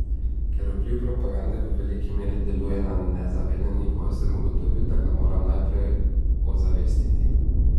Ker vpliv propagande v veliki meri deluje na nezavednem nivoju, sem ugotovil, da ga moram najprej ozavestiti.